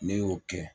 Ne y'o kɛ